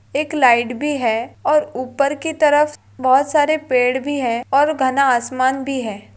एक लाइट भी है और ऊपर की तरफ बहुत सारे पेड़ भी है और घना आसमान भी है।